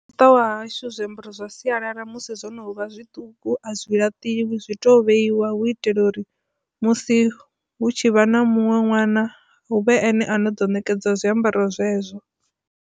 Muṱa wa hashu zwiambaro zwa sialala musi zwono vha zwiṱuku a zwi laṱiwi zwi to vheiwa hu itela uri musi hu tshi vha na muṅwe ṅwana huvhe ene a no ḓo nekedzwa zwiambaro zwezwo.